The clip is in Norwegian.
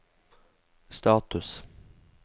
status